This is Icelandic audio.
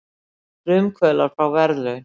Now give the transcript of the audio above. Frumkvöðlar fá verðlaun